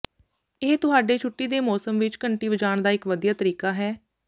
ਇਹ ਤੁਹਾਡੇ ਛੁੱਟੀ ਦੇ ਮੌਸਮ ਵਿੱਚ ਘੰਟੀ ਵੱਜਾਣ ਦਾ ਇੱਕ ਵਧੀਆ ਤਰੀਕਾ ਹੈ